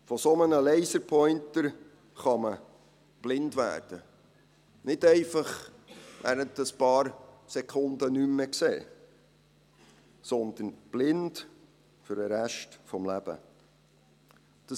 Von einem solchen Laserpointer kann man erblinden – nicht einfach während ein paar Sekunden nichts mehr sehen, sondern blind für den Rest des Lebens sein.